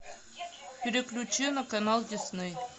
переключи на канал дисней